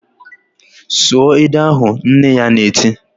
"Sụọ ede ahụ!" Nne ya na-eti